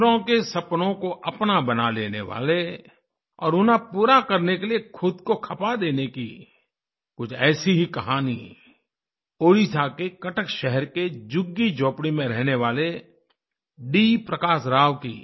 दूसरों के सपनों को अपना बना लेने वाले और उन्हें पूरा करने के लिए खुद को खपा देने की कुछ ऐसी ही कहानी उड़ीसा के कटक शहर के झुग्गीझोपड़ी में रहने वाले डी प्रकाश राव की